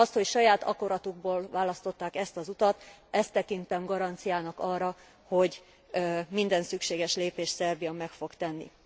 Azt, hogy saját akaratukból választották ezt az utat, ezt tekintem garanciának arra, hogy minden szükséges lépést Szerbia meg fog tenni.